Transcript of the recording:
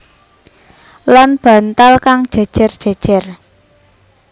Lan bantal kang jèjèr jèjèr